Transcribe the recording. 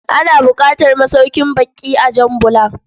Ana buƙatar masaukin bakƙi a Jan Bula.